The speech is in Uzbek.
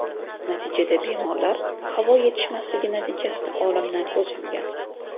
Natijada bemorlar havo yetishmasligi natijasida olamdan ko‘z yumgan.